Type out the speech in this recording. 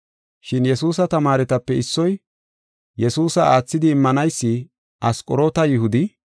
Shin Yesuusa tamaaretape issoy, Yesuusa aathidi immanaysi, Asqoroota Yihuda,